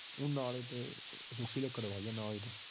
ਨਾਲ ਹੀ ਸੁਕੀ ਲੱਕੜ ਹੁੰਦੀ ਐ